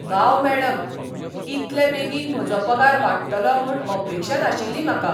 वाव मॅडम! इतले बेगीन म्हजो पगार वाडटलो म्हूण अपेक्षा नाशिल्ली म्हाका!